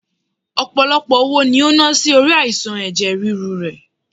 Ọpọlọpọ owó ni o na si ori aisan ẹ̀jẹ̀ ríru rẹ